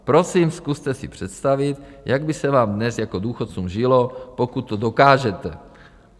Prosím, zkuste si představit, jak by se vám dnes jako důchodcům žilo, pokud to dokážete.